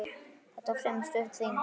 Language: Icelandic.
Þetta var fremur stutt þing.